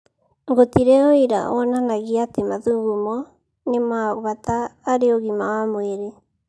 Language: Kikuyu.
"Gũtirĩ ũira wonanagia atĩ mathugumo nĩ kwa bata harĩ ũgima wa mwĩrĩ.